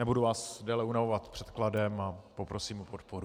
Nebudu vás déle unavovat předkladem a poprosím o podporu.